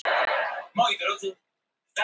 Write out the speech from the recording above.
En það var allt misskilningur.